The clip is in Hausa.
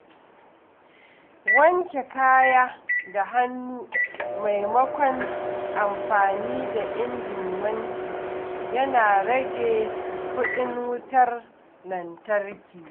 Wanke kaya da hannu maimakon amfani da injin wanki yana rage kuɗin wutar lantarki.